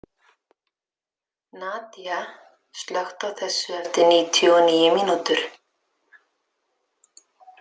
Nadia, slökktu á þessu eftir níutíu og níu mínútur.